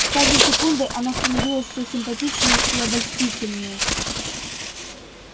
с каждой секундой она становилась всё симпатичнее и обольстительнее